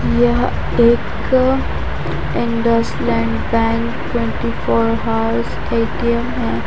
यह एक अंडश lane bank twenty four hours ATM है।